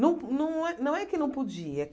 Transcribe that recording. Não não é não é que não podia.